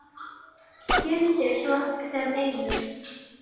Gildir svo sem einu.